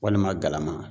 Walima galama